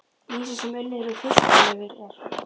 Lýsi sem unnið er úr fiskalifur er